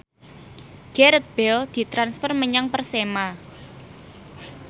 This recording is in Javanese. Gareth Bale ditransfer menyang Persema